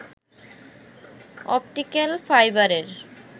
optical ফাইবারের